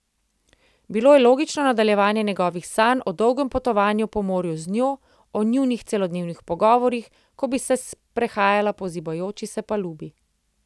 Bilo je logično nadaljevanje njegovih sanj o dolgem potovanju po morju z njo, o njunih celodnevnih pogovorih, ko bi se sprehajala po zibajoči se palubi.